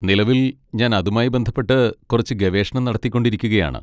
നിലവിൽ ഞാൻ അതുമായി ബന്ധപ്പെട്ട് കുറച്ച് ഗവേഷണം നടത്തിക്കൊണ്ടിരിക്കുകയാണ്.